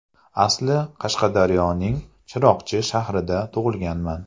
Asli Qashqadaryoning Chiroqchi shahrida tug‘ilganman.